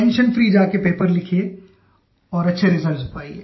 own free जा के paper लिखिये और अच्छे रिजल्ट्स पाइये